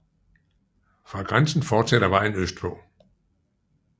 Fra grænsen fortsætter vejen øst på